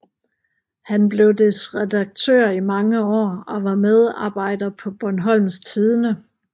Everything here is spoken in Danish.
Han blev dets redaktør i mange år og var medarbejder på Bornholms Tidende